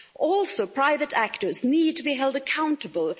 Also, private actors need to be held accountable.